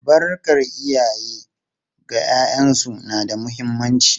Albarkar iyaye ga ’ya’yansu na da muhimmanci.